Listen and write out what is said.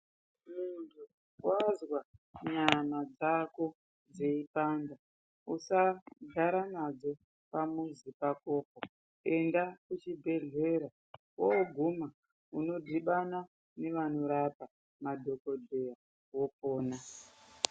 Muntu wazwa nyama dzako dzeipanda usagara nadzo pamuzi pakopo. Enda kuchibhedhlera, woguma unodhibana nevanorapa, madhokodheya wopona.